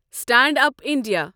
stand up India